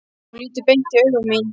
Hún lítur beint í augu mín.